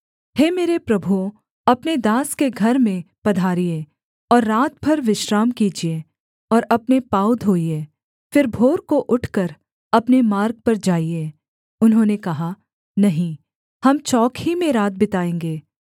हे मेरे प्रभुओं अपने दास के घर में पधारिए और रात भर विश्राम कीजिए और अपने पाँव धोइये फिर भोर को उठकर अपने मार्ग पर जाइए उन्होंने कहा नहीं हम चौक ही में रात बिताएँगे